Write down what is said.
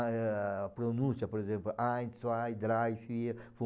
A pronúncia, por exemplo,